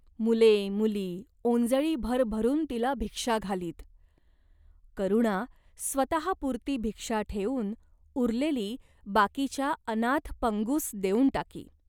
मुले मुली ओंजळी भरभरून तिला भिक्षा घालीत. करुणा स्वतहापुरती भिक्षा ठेवून उरलेली बाकीच्या अनाथ पंगुंस देऊन टाकी.